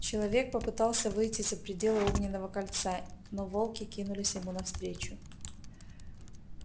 человек попытался выйти за пределы огненного кольца но волки кинулись ему навстречу